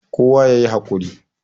kowa ya yi hakuri